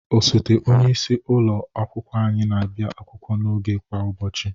Osote onyeisi ụlọ akwụkwọ anyị na-abịa akwụkwọ n'oge kwa ụbọchị.